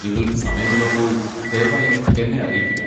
നിങ്ങൾക്ക് സമയമുള്ളപ്പോൾ ദയവായി എന്നെ അറിയിക്കുക.